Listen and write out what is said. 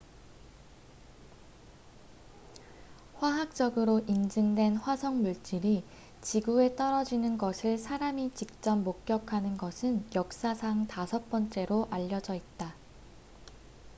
화학적으로 인증된 화성 물질이 지구에 떨어지는 것을 사람이 직접 목격하는 것은 역사상 다섯 번째로 알려져 있다